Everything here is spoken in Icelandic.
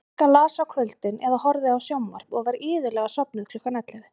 Inga las á kvöldin eða horfði á sjónvarp og var iðulega sofnuð klukkan ellefu.